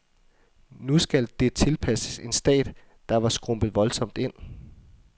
Nu skulle det tilpasses en stat, der var skrumpet voldsomt ind.